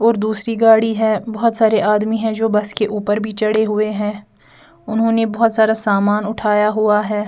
और दूसरी गाड़ी है बहुत सारे आदमी है जो बस के ऊपर भी चढ़े हुए है उन्होंने बहुत सारा सामान उठाया हुआ है।